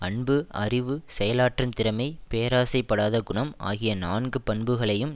அன்பு அறிவு செயலாற்றும் திறமை பேராசைப் படாத குணம் ஆகிய நான்கு பண்புகளையும்